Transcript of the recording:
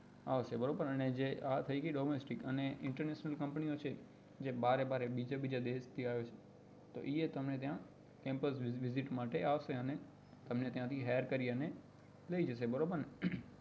આવશે બરોબર ને તો આ થઇ ગઈ domestick અને international company ઓ છે જે બારે બારે બીજે બીજે દેશ થી આવે છે તો એ ગમે ત્યાં temporary visit માટે આવશે અને તમને ત્યાં થી hire કરી ને લઇ જશે બરોબર ને